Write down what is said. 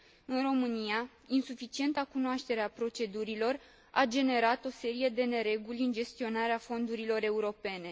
În România, insuficienta cunoaștere a procedurilor a generat o serie de nereguli în gestionarea fondurilor europene.